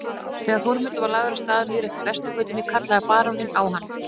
Þegar Þórmundur var lagður af stað niður eftir Vesturgötunni kallaði baróninn á hann.